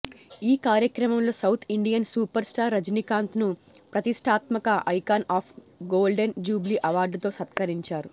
ఈ కార్యక్రమంలో south Indian super star రజనీకాంత్ను ప్రతిష్టాత్మక ఐకాన్ ఆఫ్ గోల్డెన్ జూబ్లీ అవార్డుతో సత్కరించారు